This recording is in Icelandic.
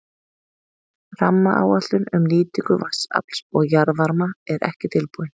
Rammaáætlun um nýtingu vatnsafls og jarðvarma er ekki tilbúin.